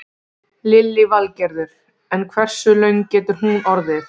Lillý Valgerður: En hversu löng getur hún orðið?